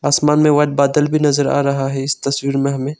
आसमान में व्हाइट बादल भी नजर आ रहा है इस तस्वीर में हमें।